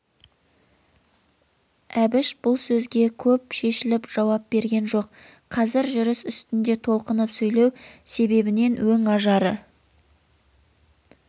әбіш бұл сөзге көп шешіліп жауап берген жоқ қазір жүріс үстінде толқынып сөйлеу себебінен өң-ажары